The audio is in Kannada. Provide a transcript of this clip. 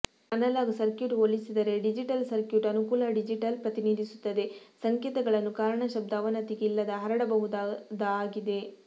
ಅನಲಾಗ್ ಸರ್ಕ್ಯೂಟ್ ಹೋಲಿಸಿದರೆ ಡಿಜಿಟಲ್ ಸರ್ಕ್ಯೂಟ್ ಅನುಕೂಲ ಡಿಜಿಟಲ್ ಪ್ರತಿನಿಧಿಸುತ್ತದೆ ಸಂಕೇತಗಳನ್ನು ಕಾರಣ ಶಬ್ದ ಅವನತಿಗೆ ಇಲ್ಲದ ಹರಡಬಹುದಾದ ಆಗಿದೆ